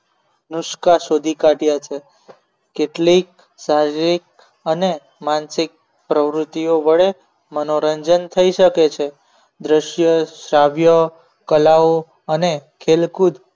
નુષ્કા શોધી કાઢ્યા છે કેટલીક શારીરિક અને માનસિક પ્રવૃત્તિઓ વડે મનોરંજન થઈ શકે છે દ્રશ્ય કલાઓ અને ખેડૂત એ મનોરંજન માટેના બે મોટા માધ્યમો છે તેમ જ